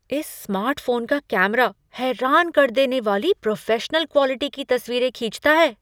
इस स्मार्टफोन का कैमरा हैरान कर देने वाली प्रोफेशनल क्वालिटी की तस्वीरें खींचता है।